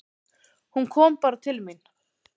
Hún kom bara til mín.